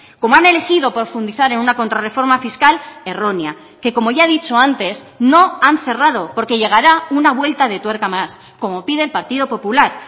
como han elegido profundizar en una contrarreforma fiscal errónea que como ya he dicho antes no han cerrado porque llegará una vuelta de tuerca más como pide el partido popular